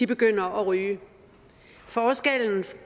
begynder at ryge forskellen